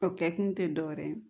O kɛ kun te dɔwɛrɛ ye